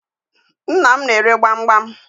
Nnam n'ere gbamgbam.